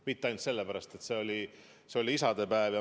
Mitte ainult sellepärast, et see oli isadepäev.